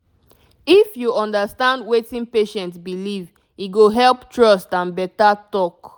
if you understand wetin patient believe e go help trust and better talk